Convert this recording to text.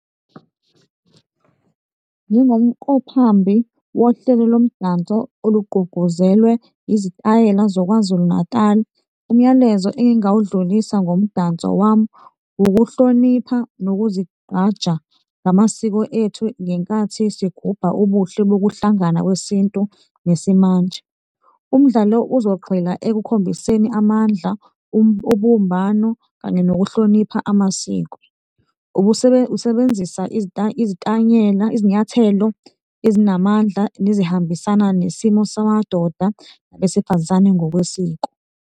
Njengomqhuphambi wohlelo lomdanso olugqugquzelwe izitayela zoKwaZulu-Natali. Umyalezo engingawudlulisa ngomdanso wami ukuhlonipha nokuzigqaja ngamasiko ethu ngenkathi sigubha ubuhle bokuhlangana kwesintu nesimanje. Umdlalo uzogxila ekukhombiseni amandla, ubumbano kanye nokuhlonipha amasiko. Usebenzisa izinyathelo ezinamandla nezihambisana nesimo samadoda nabesifazane ngokwesiko.